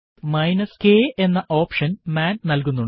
k എന്ന option മാൻ നൽകുന്നുണ്ട്